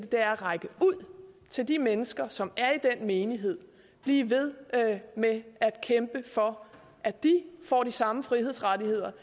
det er at række ud til de mennesker som er i den menighed og blive ved med at kæmpe for at de får de samme frihedsrettigheder